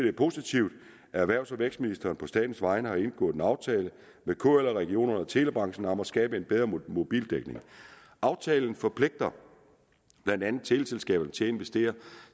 er positivt at erhvervs og vækstministeren på statens vegne har indgået en aftale med kl og regionerne og telebranchen om at skabe en bedre mobildækning aftalen forpligter blandt andet teleselskaberne til at investere